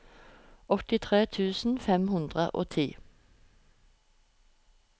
åttitre tusen fem hundre og ti